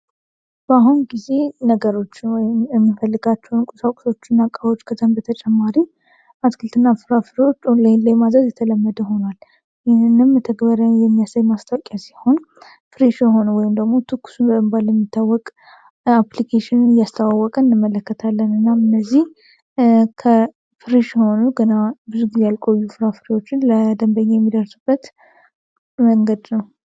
በአሁን ጊዜ ነገሮች የሚፈልጋቸውን እቁሳውቁሶቹ እና ቃቦች ከዘን በተጨማሪ አትክልት ና ፍራ ፍሪዎችን ኦን ላይን ላይ ማዘዝ የተለመደ ሆኗል። ይህንም የተግበረ የሚያሳይ ማስታውቂያ ሲሆን ፍሬሽ የሆን ወይምደግሞ ትኩስን በንባል ለሚታወቅ አፕሊcሽን እያስተዋወቀን እደመለከት ለን እናም እነዚህ ከፍሬሽ ሆኑ ግና ብዙ ጊዜ ያልቆዩ ፍራ ፍሬዎችን ለደንበኛ የሚደርሱበት መንገድ ነው።